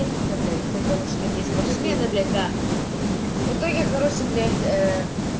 месяц являюсь а короче такие спортсмены для которых его тоже хороший блять